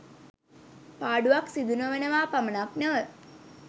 පාඩුවක් සිදු නොවනවා පමණක් නොව